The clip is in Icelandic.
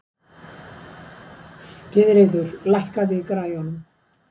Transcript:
Gyðríður, lækkaðu í græjunum.